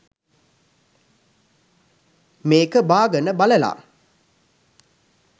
මේක බාගන බලල